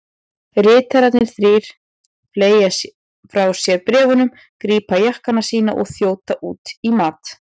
Ritararnir þrír fleygja frá sér bréfunum, grípa jakkana sína og þjóta út í mat.